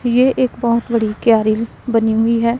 ये एक बहोत बड़ी क्यारिल में बनी हुई है।